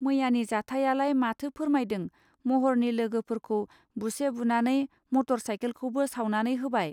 मैयानि जाथायालाय माथो फोरमायदों महरनि लोगोफोरखौ बुसे बुनानै मटर साइखेलखौबो सावनानै होबाय